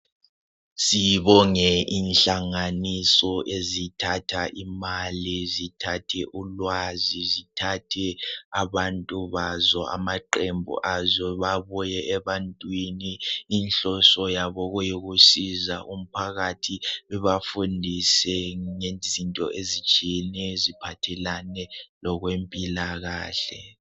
Sibonge inhlanganiso ezithatha imali zithathe ulwazi, zithathe abantu bazo amaqembu azo. Babuye ebantwini inhloso yabo kuyikusiza umphakathi, lubafundise ngezinto ezitshiyeneyo eziphathelane lokwempilakahle.